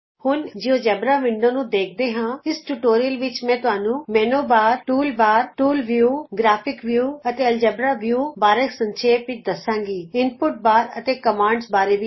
ਆਉ ਹੁਣ ਅਸੀਂ ਜਿਉਜੇਬਰਾ ਵਿੰਡੋ ਨੂੰ ਦੇਖਦੇ ਹਾਂਇਸ ਟਯੂਟੋਰਿਅਲ ਵਿਚ ਮੈਂ ਮੈਨਯੂ ਬਾਰ ਟੂਲ ਬਾਰ ਅਤੇ ਟੂਲ ਵਿਉ ਗ੍ਰਾਫਿਕਜ਼ ਵਿਉ ਅਤੇ ਐਲਜ਼ਬਰਾ ਵਿਉ ਬਾਰੇ ਸੰਖੇਪ ਵਿਚ ਦਸਾਂਗੀਇਨਪੁਟ ਬਾਰ ਅਤੇ ਕਮਾਂਡਜ਼ ਬਾਰੇ ਵੀ